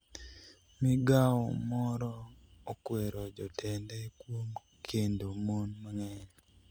migawo moro okwero jotende kuom kendo mon mang'eny